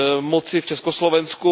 moci v Československu.